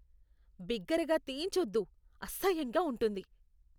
బిగ్గరగా తేన్చోద్దు, అసహ్యంగా ఉంటుంది.